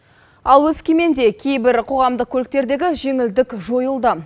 ал өскеменде кейбір қоғамдық көліктердегі жеңілдік жойылды